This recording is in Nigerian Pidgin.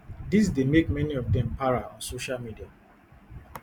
dis dey make many of dem para on social media